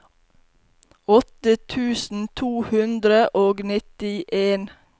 åtte tusen to hundre og nittien